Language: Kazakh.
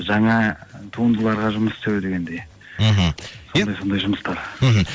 жаңа туындыларға жұмыс істеу дегендей мхм сондай сондай жұмыстар мхм